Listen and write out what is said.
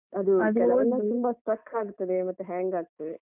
ತುಂಬಾ struck ಆಗ್ತದೆ ಮತ್ತೆ hang ಆಗ್ತದೆ.